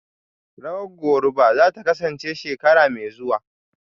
Rawar Goruba zata kasance shekara mai zuwa